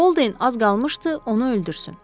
Bolden az qalmışdı onu öldürsün.